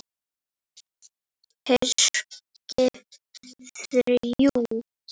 HERSKIP ÞRJÚ